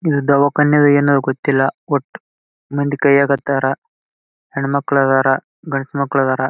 ಇದು ದಾವಕನ ಏನೋ ಗೊತ್ತಿಲ್ಲ ಒಟ್ಟು ಮಂದಿ ಇದ್ದಾರಾ ಹೆಣ್ ಮಕ್ಳು ಇದ್ದಾರೆ ಗಂಡ್ ಮಕ್ಕ್ಳು ಇದ್ದಾರ.